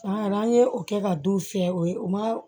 An yɛrɛ an ye o kɛ ka don fiyɛ o ye o ma